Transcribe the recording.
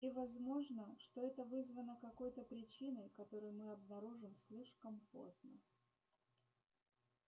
и возможно что это вызвано какой то причиной которую мы обнаружим слишком поздно